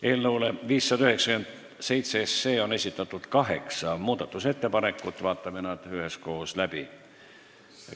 Eelnõu 597 kohta on esitatud kaheksa muudatusettepanekut ja vaatame need üheskoos läbi.